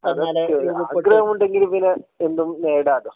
ആഗ്രഹം ഉണ്ടെങ്കിൽ പിന്നെ എന്തും നേടാലോ